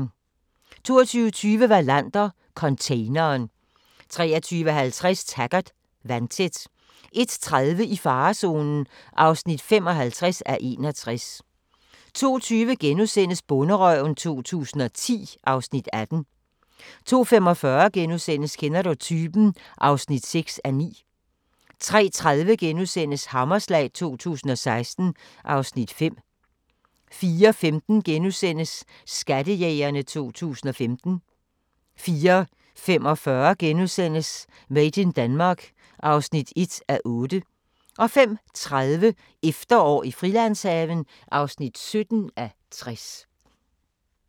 22:20: Wallander: Containeren 23:50: Taggart: Vandtæt 01:30: I farezonen (55:61) 02:20: Bonderøven 2010 (Afs. 18)* 02:45: Kender du typen? (6:9)* 03:30: Hammerslag 2016 (Afs. 5)* 04:15: Skattejægerne 2015 * 04:45: Made in Denmark (1:8)* 05:30: Efterår i Frilandshaven (17:60)